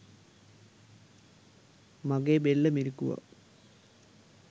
මගේ බෙල්ල මිරිකුවා.